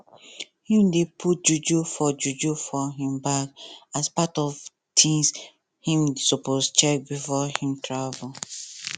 him dey put juju for juju for him bag as part of things him suppose check before him travel